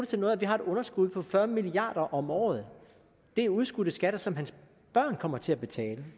til noget at vi har et underskud på fyrre milliard kroner om året det er udskudte skatter som hans børn kommer til at betale